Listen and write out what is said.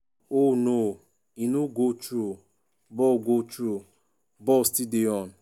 oh no e no go through ball go through ball still dey on.